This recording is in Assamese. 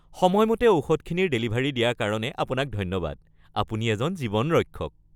সময়মতে ঔষধখিনিৰ ডেলিভাৰী দিয়াৰ কাৰণে আপোনাক ধন্যবাদ। আপুনি এজন জীৱন ৰক্ষক।